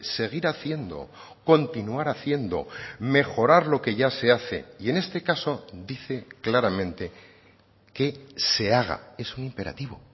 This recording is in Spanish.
seguir haciendo continuar haciendo mejorar lo que ya se hace y en este caso dice claramente que se haga es un imperativo